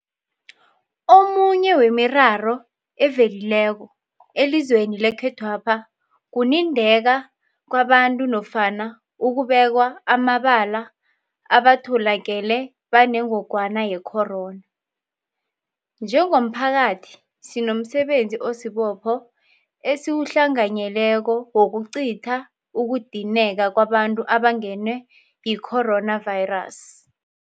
Omunye wemiraro evelileko elizweni lekhethwapha kunindeka kwabantu nofana ukubekwa amabala abatholakele banengogwana yecorona . Njengomphakathi, sinomsebenzi osibopho esiwuhlanganyeleko wokucitha ukunindeka kwabantu abangenwe yicoronavirus .